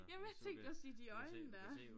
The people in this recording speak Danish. Jamen jeg tænkte også lige de øjne dér